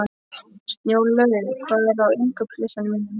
Snjólaugur, hvað er á innkaupalistanum mínum?